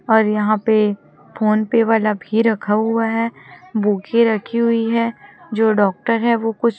और यहां पे फोन पे वाला भी रखा हुआ है बुके रखी हुई है जो डॉक्टर है वो कुछ--